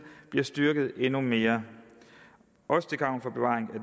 bliver styrket endnu mere også til gavn for bevaring af